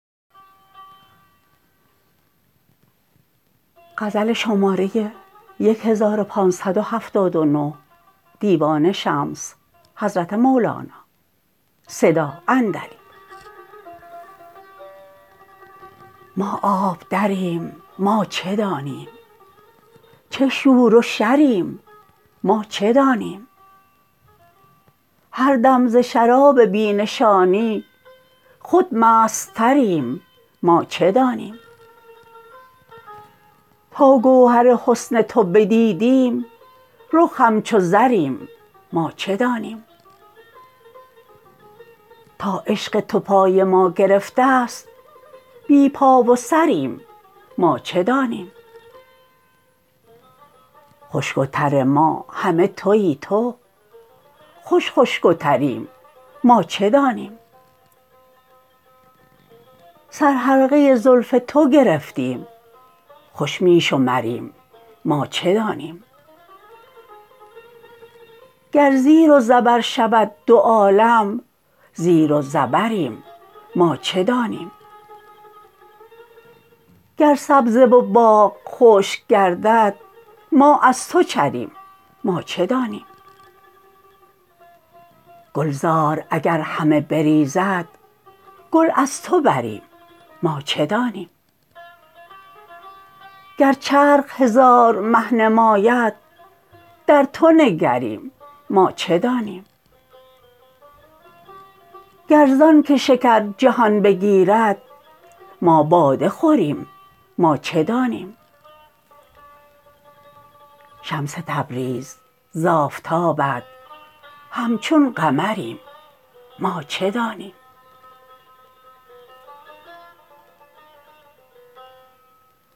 ما آب دریم ما چه دانیم چه شور و شریم ما چه دانیم هر دم ز شراب بی نشانی خود مستتریم ما چه دانیم تا گوهر حسن تو بدیدیم رخ همچو زریم ما چه دانیم تا عشق تو پای ما گرفته ست بی پا و سریم ما چه دانیم خشک و تر ما همه توی تو خوش خشک و تریم ما چه دانیم سرحلقه زلف تو گرفتیم خوش می شمریم ما چه دانیم گر زیر و زبر شود دو عالم زیر و زبریم ما چه دانیم گر سبزه و باغ خشک گردد ما از تو چریم ما چه دانیم گلزار اگر همه بریزد گل از تو بریم ما چه دانیم گر چرخ هزار مه نماید در تو نگریم ما چه دانیم گر زانک شکر جهان بگیرد ما باده خوریم ما چه دانیم شمس تبریز ز آفتابت همچون قمریم ما چه دانیم